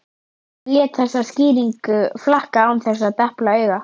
Hann lét þessa skýringu flakka án þess að depla auga.